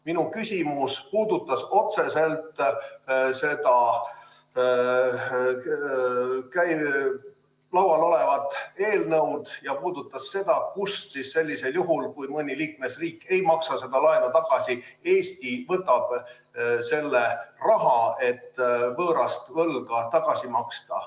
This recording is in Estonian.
Mu küsimus puudutas otseselt seda laual olevat eelnõu ja puudutas seda, kust siis sellisel juhul, kui mõni liikmesriik ei maksa seda laenu tagasi, Eesti võtab selle raha, et võõrast võlga tagasi maksta.